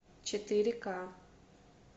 четыре к